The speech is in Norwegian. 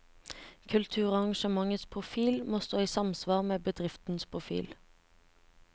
Kulturarrangementets profil må stå i samsvar med bedriftens profil.